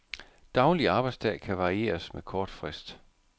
Daglig arbejdsdag kan varieres med kort frist.